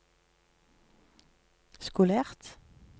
skolert